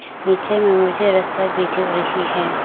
नीचे में मुझे रस्ता भी दिख रही है।